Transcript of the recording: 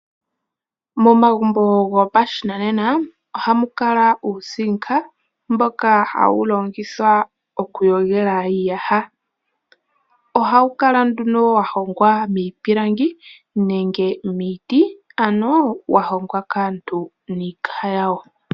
Momagumbo gopashinanena ohamu kala uuzinka, mboka hawu longithwa okuyogela iiyaha. Ohawu kala nduno wahongwa miipilangi nenge niiti, ano wahongwa kaantu niikaha yawo.